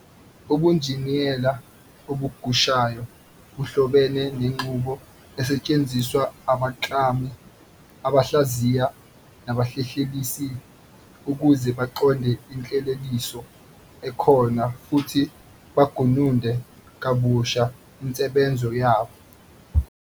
Ubunjiniyela obugushayo buhlobene nenqubo esetshenziswa abaklami, abahlaziyi, nabahlelelisi ukuze baqonde Inhleleliso ekhona futhi bagununde kabushe insebenzo yayo.